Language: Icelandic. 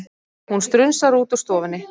Hún strunsar út úr stofunni.